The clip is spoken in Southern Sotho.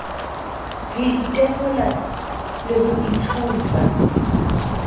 ho itekola le ho itshupa